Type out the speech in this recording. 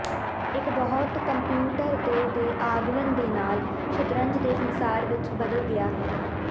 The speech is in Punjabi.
ਇੱਕ ਬਹੁਤ ਕੰਪਿਊਟਰ ਦੇ ਦੇ ਆਗਮਨ ਦੇ ਨਾਲ ਸ਼ਤਰੰਜ ਦੇ ਸੰਸਾਰ ਵਿੱਚ ਬਦਲ ਗਿਆ ਹੈ